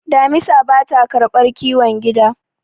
damisa ba ta karbar kiwon gida